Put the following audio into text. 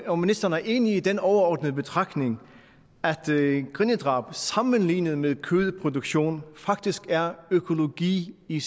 om ministeren er enig i den overordnede betragtning at grindedrab sammenlignet med kødproduktion faktisk er økologi i